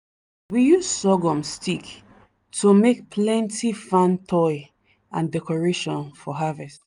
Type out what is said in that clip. we use sorghum stick to make plenty fan toy and decoration for harvest.